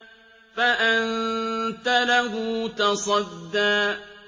فَأَنتَ لَهُ تَصَدَّىٰ